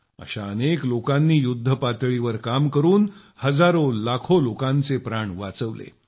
अशा अनेक लोकांनी युद्धपातळीवर काम करून हजारोलाखों लोकांचे प्राण वाचवले